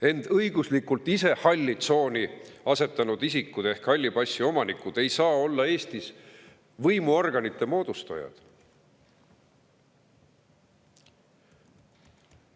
End õiguslikult ise halli tsooni asetanud isikud ehk halli passi omanikud ei saa olla Eestis võimuorganite moodustajad.